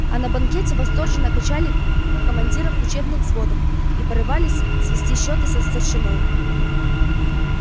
а на банкете восторженно качали командиров учебных взводов и порывались свести счёты со старшиной